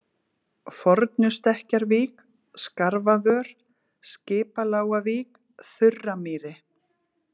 Fornustekkjarvík, Skarfavör, Skipalágavík, Þurramýri